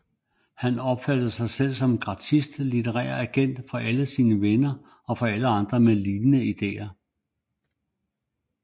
Han opfattede sig selv som gratis litterær agent for alle sine venner og for andre med lignende ideer